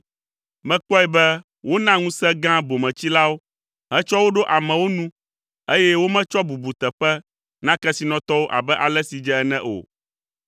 Mekpɔe be wona ŋusẽ gã bometsilawo hetsɔ wo ɖo amewo nu eye wometsɔ bubuteƒe na kesinɔtɔwo abe ale si dze ene o.